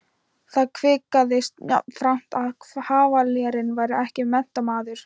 Það kvisaðist jafnframt að kavalérinn væri ekki menntamaður.